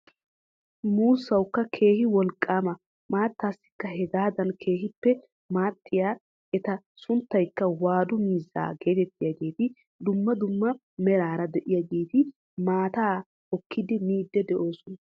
Muussawukka keehi wolqqama maattaasikka hegaadan keehippe maaxxiyaa eta sunttaykka waadu miizzaa getettiyaageti dumma dumma meraara de'iyaageti ,maataa hookkidi miidi de'oosona.